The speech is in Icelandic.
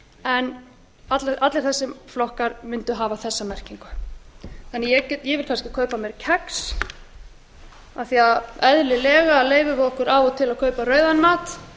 en allir þessir flokkar mundu hafa þessa merkingu ég vil kannski kaupa mér kex af því að eðlilega til að kaupa rauðan mat